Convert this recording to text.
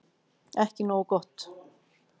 Ekki nógu gott